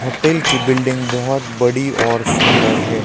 Hotel की building बहोत बड़ी और सुंदर है।